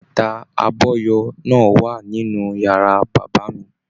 Bàtà abọyọ̀ náà wà nínú yàrá bàbá mí.